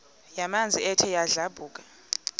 yamanzi ethe yadlabhuka